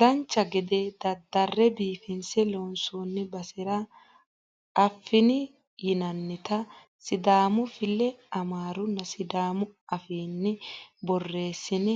dancha gede daddarre biifinse loonsoonni basera affini yinannita sidaamu file amaarunna sidaamu afiinni borreessne